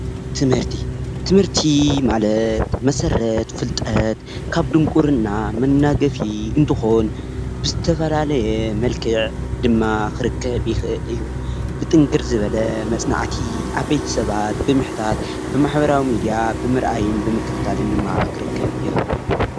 ትምህርቲ:‑ትምህርቲ ማለት መሰረት ፍልጠት ካብ ድንቁርና መናገፊ እንትኾን ብዝተፈላለየ መልክዕ ድማ ክርከብ ይኽእል እዩ። ብጥንክር ዝበለ መፅናዕቲ ዓበይቲ ሰባት ብምሕታት ብማሕበራዊ ሚድያ ብምርኣይን ብምክትታልን ድማ ክርከብ ይኽእል።